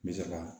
Me se ka